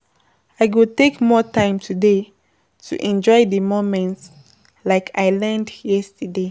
I go take more time today to enjoy di moments, like I learned yesterday.